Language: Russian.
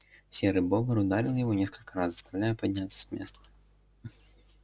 серый бобр ударил его несколько раз заставляя подняться с места